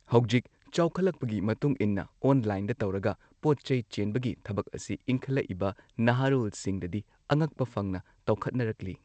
ꯍꯧꯖꯤꯛ ꯆꯥꯎꯈꯠꯂꯛꯄꯒꯤ ꯃꯇꯨꯡ ꯏꯟꯅ ꯑꯣꯜꯂꯥꯏꯟꯗ ꯇꯧꯔꯒ ꯄꯣꯠꯆꯩ ꯆꯦꯟꯕꯒꯤ ꯊꯕꯛ ꯑꯁꯤ ꯏꯟꯈꯠꯂꯛꯏꯕ ꯅꯍꯥꯔꯣꯜꯁꯤꯡꯗꯗꯤ ꯑꯉꯛꯄ ꯐꯪꯅ ꯇꯧꯈꯠꯅꯔꯛꯂꯤ꯫